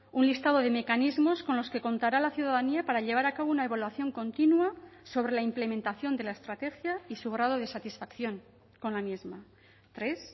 un listado de mecanismos con los que contará la ciudadanía para llevar a cabo una evaluación continua sobre la implementación de la estrategia y su grado de satisfacción con la misma tres